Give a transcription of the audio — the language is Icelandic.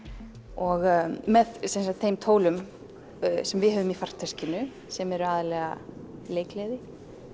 og með þeim tólum sem við höfum í farteskinu sem eru aðallega leikgleði